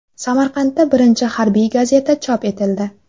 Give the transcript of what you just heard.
Samarqandda birinchi harbiy gazeta chop etildi.